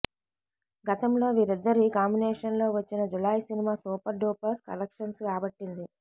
గతంలో వీరిద్దరి కాంబినేషన్లో వచ్చిన Julayi cinema super duper collections రాబట్టింది